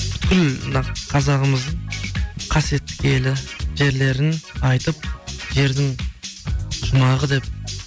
бүкіл мына қазағымыздың қасиетті елі жерлерін айтып жердің жұмағы деп